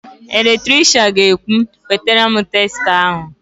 Eletrishian ga-ekwu, "wetara m testa ahụ"!